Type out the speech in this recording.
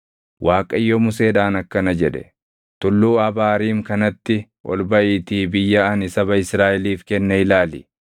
Waaqayyo Museedhaan akkana jedhe; “Tulluu Abaariim kanatti ol baʼiitii biyya ani saba Israaʼeliif kenne ilaali.